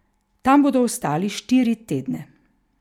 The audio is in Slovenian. Tam bodo ostali štiri tedne.